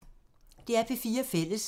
DR P4 Fælles